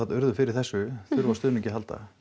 urðu fyrir þessu þurfa á stuðningi að halda